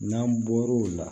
N'an bɔr'o la